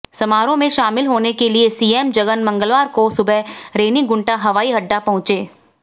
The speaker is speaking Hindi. समारोह में शामिल होने के लिए सीएम जगन मंगलवार को सुबह रेनीगुंटा हवाई अड्डा पहुंचे